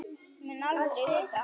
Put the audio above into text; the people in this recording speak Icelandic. Mun aldrei vita.